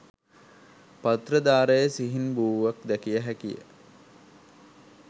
පත්‍ර දාරයේ සිහින් බූවක් දැකිය හැකිය.